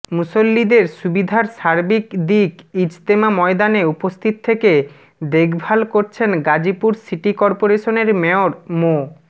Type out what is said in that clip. মুসল্লিদের সুবিধার সার্বিক দিক ইজতেমা ময়দানে উপস্থিত থেকে দেখভাল করছেন গাজীপুর সিটি করপোরেশনের মেয়র মো